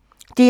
DR1